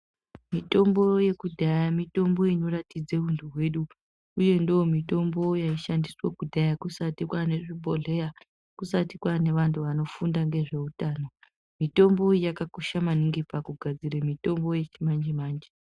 Mitombo yekudhaya mitombo inoratidza hunhu hwedu uye ndiyo mitombo yaishandiswa kudhaya kusati kwaane nezvibhodhleya. Kusati kwaane antu anofunda ngezveutano. Mitombo iyi yakakosha maningi pakugadzira mitombo yechimanje manje.